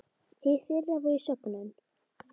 Hið fyrra var í sögnum.